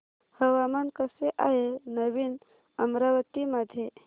हवामान कसे आहे नवीन अमरावती मध्ये